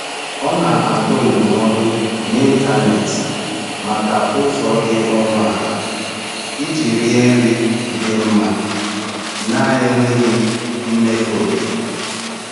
Ọ na-agụ ndụmọdụ n’ịntanetị maka ụzọ dị ọnụ ala iji rie nri dị mma na-enweghị mmefu oke.